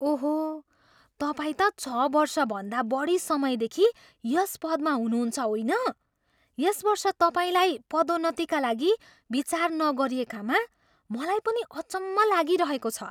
ओहो! तपाईँ त छ वर्षभन्दा बढी समयदेखि यस पदमा हुनुहुन्छ होइन? यस वर्ष तपाईँलाई पदोन्नतिका लागि विचार नगरिएकामा मलाई पनि अचम्म लागिरहेको छ।